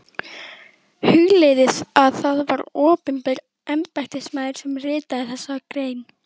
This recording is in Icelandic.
Hugleiðið að það var opinber embættismaður sem ritaði þessa grein.